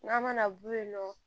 N'a mana bɔ yen nɔ